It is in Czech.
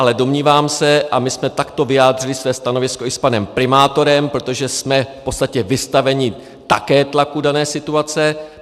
Ale domnívám se - a my jsme takto vyjádřili své stanovisko i s panem primátorem, protože jsme v podstatě vystaveni také tlaku dané situace.